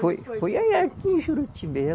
Foi, foi aqui em Juruti